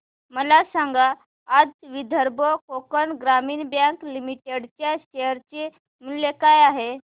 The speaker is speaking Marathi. मला सांगा आज विदर्भ कोकण ग्रामीण बँक लिमिटेड च्या शेअर चे मूल्य काय आहे